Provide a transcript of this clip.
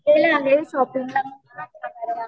वेळ आहे शॉपिंगला